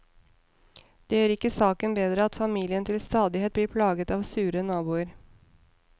Det gjør ikke saken bedre at familien til stadighet blir plaget av sure naboer.